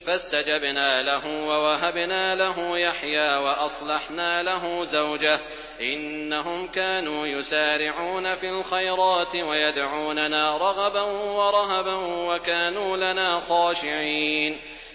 فَاسْتَجَبْنَا لَهُ وَوَهَبْنَا لَهُ يَحْيَىٰ وَأَصْلَحْنَا لَهُ زَوْجَهُ ۚ إِنَّهُمْ كَانُوا يُسَارِعُونَ فِي الْخَيْرَاتِ وَيَدْعُونَنَا رَغَبًا وَرَهَبًا ۖ وَكَانُوا لَنَا خَاشِعِينَ